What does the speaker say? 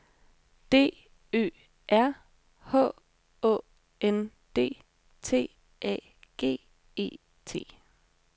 D Ø R H Å N D T A G E T